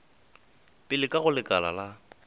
pele ka go lekala la